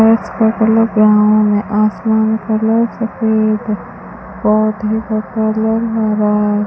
भैंस का colour brown है आसमान कलर सफेद है पौधे का कलर हरा --